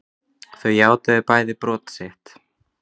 Þau játuðu bæði brot sitt